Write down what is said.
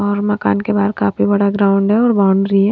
और मकान के बाहर काफी बड़ा ग्राउंड है और बाउंड्री है।